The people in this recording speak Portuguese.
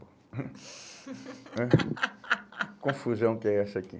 Hum né Que confusão que é essa aqui.